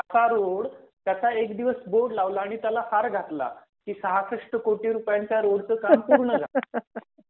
असा रोड त्याचा एक दिवसबोर्ड लावला आणि त्याला हार घातला की सहासष्ट कोटी रुपयांचा रोडचं काम पूर्ण झालं